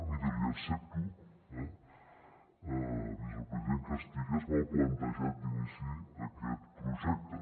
miri li accepto eh vicepresident que estigués mal plantejat d’inici aquest projecte